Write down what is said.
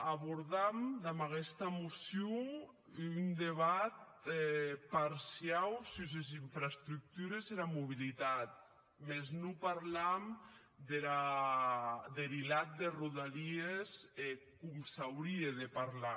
abordam damb aguesta mocion un debat parciau sus es infraestructures e era mobilitat mès non parlam deth hilat de rodalies com s’aurie de parlar